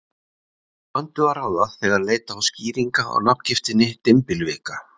Úr vöndu er að ráða, þegar leita á skýringa á nafngiftinni dymbilvika.